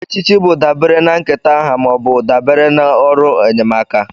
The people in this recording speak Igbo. Echichi bụ dabere na nketa aha ma ọ bụ dabere na ọrụ enyemaka.